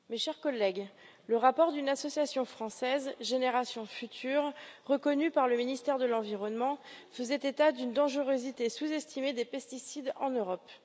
Madame la Présidente, mes chers collègues, le rapport d'une association française, Générations futures, reconnue par le ministère de l'Environnement, faisait état d'une dangerosité sous estimée des pesticides en Europe.